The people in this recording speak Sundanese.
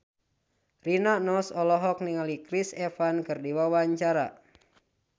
Rina Nose olohok ningali Chris Evans keur diwawancara